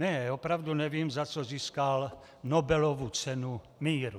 Ne, opravdu nevím, za co získal Nobelovu cenu míru.